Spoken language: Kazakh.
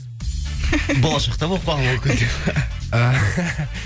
болашақта болып қалуы мүмкін деп